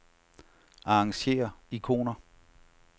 Arrangér ikoner.